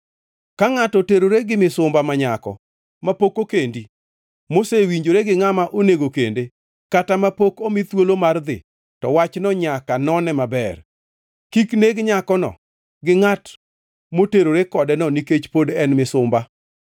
“ ‘Ka ngʼato oterore gi misumba ma nyako mapok okendi mosewinjore gi ngʼama onego kende, kata mapok omi thuolo mar dhi, to wachno nyaka none maber. Kik neg nyakono gi ngʼat moterore kodeno nikech pod en misumba.